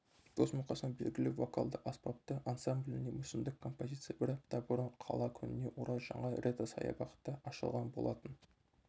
дос-мұқасан белгілі вокалды-аспапты ансамбліне мүсіндік композиция бір апта бұрын қала күніне орай жаңа ретро-саябақта ашылған болатын